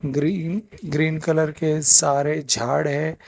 Green green colour के सारे झाड़ है।